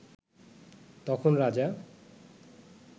তখন রাজা